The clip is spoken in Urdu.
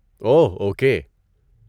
اوہ اوکے